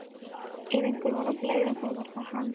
Ef einhver var bleyða þá var það hann.